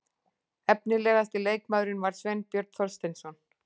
Efnilegasti leikmaðurinn var Sveinbjörn Þorsteinsson.